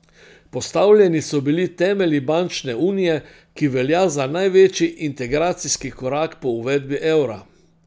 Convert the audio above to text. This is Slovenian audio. Postavljeni so bili temelji bančne unije, ki velja za največji integracijski korak po uvedbi evra.